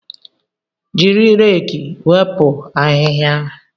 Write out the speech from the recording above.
Jiri reeki wepụ ahịhịa